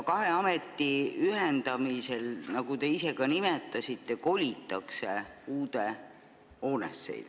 Kahe ameti ühendamisel, nagu te ise ka nimetasite, kolitakse uude hoonesse.